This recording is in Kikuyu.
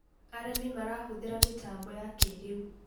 arĩmi marahuthira mitambo ya kĩiriu